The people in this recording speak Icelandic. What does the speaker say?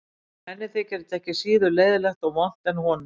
Og henni þyki þetta ekki síður leiðinlegt og vont en honum.